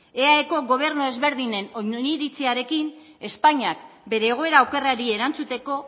eaeko gobernu ezberdinen oniritziarekin espainiak bere egoera okerrari erantzuteko